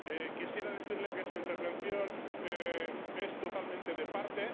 Quisiera decirle que su intervención es totalmente de parte.